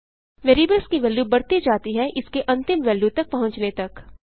variables की value बढ़ती जाती है इसके अंतिम वेल्यू तक पहुँचने तक